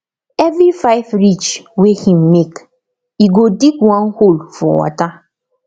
every five ridge wey him make e go dig one hole for water